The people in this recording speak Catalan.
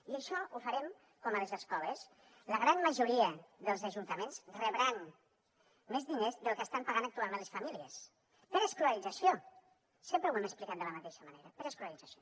i això ho farem com a les escoles la gran majoria dels ajuntaments rebran més diners dels que estan pagant actualment les famílies per l’escolarització sempre ho hem explicat de la mateixa manera per l’escolarització